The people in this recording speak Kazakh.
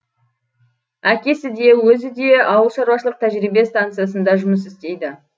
әкесі де өзі де ауыл шаруашылық тәжірибе стансысында жұмыс істейді